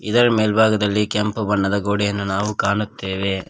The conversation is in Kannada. ಇದರ ಮೇಲ್ಭಾಗದಲ್ಲಿ ಕೆಂಪು ಬಣ್ಣದ ಗೋಡೆಯನ್ನು ನಾವು ಕಾಣುತ್ತೇವೆ.